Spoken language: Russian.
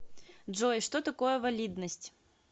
джой что такое валидность